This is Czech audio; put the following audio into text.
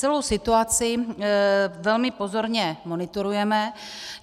Celou situaci velmi pozorně monitorujeme.